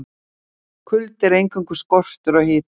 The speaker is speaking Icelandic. Kuldi er eingöngu skortur á hita.